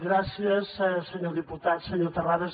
gràcies senyor diputat senyor terrades